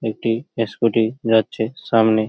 একটি ইস্কুটি যাচ্ছে সামনে--